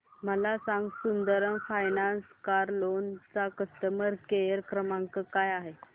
मला हे सांग सुंदरम फायनान्स कार लोन चा कस्टमर केअर क्रमांक काय आहे